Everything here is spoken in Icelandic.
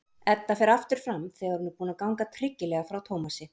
Edda fer aftur fram þegar hún er búin að ganga tryggilega frá Tómasi.